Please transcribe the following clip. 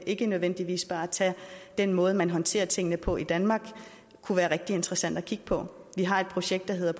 ikke nødvendigvis bare at tage den måde man håndterer tingene på i danmark kunne være rigtig interessant at kigge på vi har et projekt der hedder